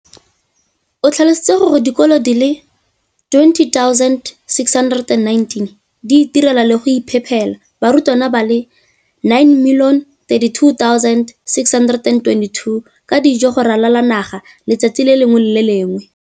O tlhalositse gore dikolo di le 20 619 di itirela le go iphepela barutwana ba le 9 032 622 ka dijo go ralala naga letsatsi le lengwe le le lengwe.